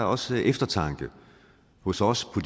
også eftertanke hos os på